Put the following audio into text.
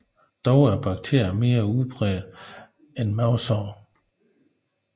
Dog er bakterien mere udbredt end mavesår